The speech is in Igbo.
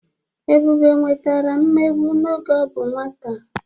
Ebube nwetara mmegbu n'oge ọ bụ nwata.